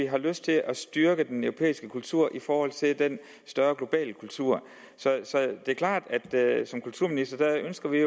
har lyst til at styrke den europæiske kultur i forhold til den større globale kultur så det er klart at som kulturminister ønsker jeg